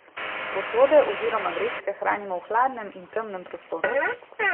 Posode oziroma vrečke hranimo v hladnem in temnem prostoru.